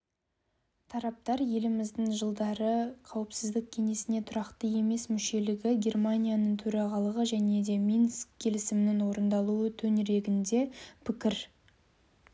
тараптар еліміздің жылдары қауіпсіздік кеңесіне тұрақты емес мүшелігі германияның төрағалығы және минск келісімінің орындалуы төңірегінде пікір